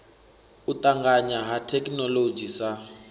u tanganya ha thekhinoḽodzhi sa